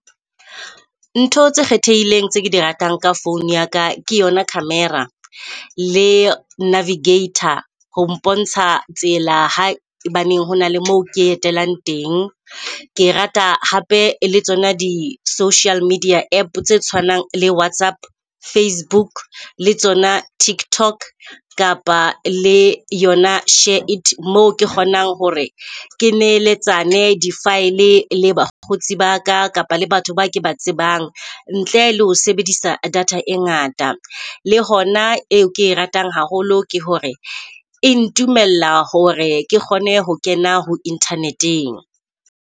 Ntho tse kgethehileng tse di ratang ka phone ya ka, ke yona camera le navigator ho mpontsha tsela hae baneng ho na le moo ke etelang teng. Ke rata hape le tsona di-social media app tse tshwanang le WhatsApp, Facebook le tsona TikTok kapa le yona SHAREit. Moo ke kgonang hore ke neletsane, di-file le bakgotsi baka kapa le batho ba ke ba tsebang ntle le ho sebedisa data e ngata. Le hona e ke ratang haholo ke hore e ntumella hore ke kgone ho kena ho internet-eng.